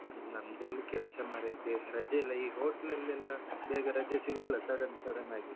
ನಮ್ದಿಲ್ಲಿ ಕೆಲಸ ಮಾರೈತಿ, ರಜೆ ಇಲ್ಲ ಈಗ hotel ಅಲ್ಲೆಲ್ಲ ಬೇಗ ರಜೆ ಸಿಗಲ್ಲ sudden sudden ಆಗಿ.